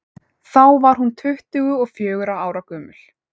þá var hún tuttugu og fjögurra ára gömul